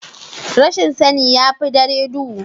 Rashin sani ya fi dare duhu.